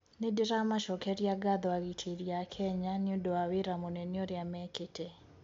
"Nindiramacokeria ngatho agiteri aa Kenya niundu wa wira munene uria meekite.